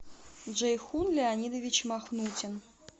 джейхун леонидович махнутин